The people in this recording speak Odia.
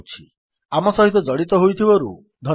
ଆମ ସହିତ ଜଡ଼ିତ ହୋଇଥିବାରୁ ଧନ୍ୟବାଦ